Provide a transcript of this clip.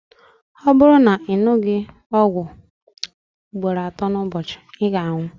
ọ bụrụ na ị ṅụghị ọgwụ a ugboro atọ n'ụbọchị ị ga-anwụ